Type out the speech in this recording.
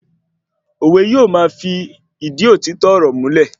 Òwe yóò ma fi ìdí òtítọ́ ọ̀rọ̀ múlẹ̀